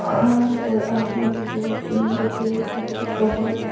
हां और आसमान भी बहुत सुंदर है पीछे पहाड़--